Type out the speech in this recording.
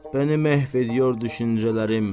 Bəni məhv ediyor düşüncələrim.